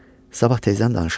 Sabah tezdən danışarıq.